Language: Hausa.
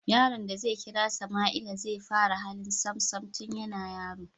Yaron da zai kira Sama'ila zai fara hali Sam Sam tun yana yaro